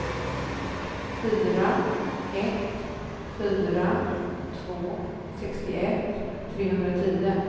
fyra ett fyra två sextioett trehundratio